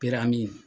Pɛrɛn